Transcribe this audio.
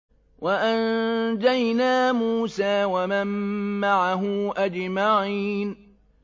وَأَنجَيْنَا مُوسَىٰ وَمَن مَّعَهُ أَجْمَعِينَ